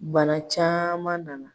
Bana caman nana.